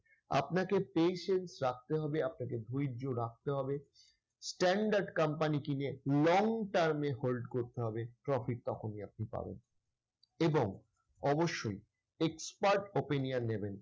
আপনাকে patience রাখতে হবে, আপনাকে ধৈর্য রাখতে হবে standard company কিনে long term এ hold করতে হবে। profit তখনই আপনি পাবেন এবং অবশ্যই expert opinion নেবেন।